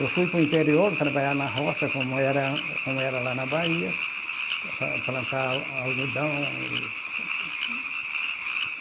Eu fui para o interior, trabalhar na roça, como era como era lá na Bahia, fa plantar algodão e.